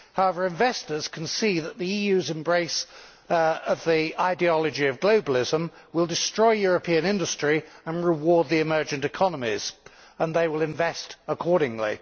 However, investors can see that the EU's embrace of the ideology of globalism will destroy European industry and reward the emergent economies, and they will invest accordingly.